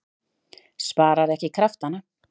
Sparar ekki kraftana.